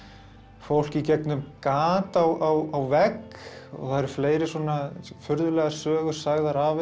fólk í gegnum gat á vegg og það eru fleiri svona furðulegar sögur sagðar af henni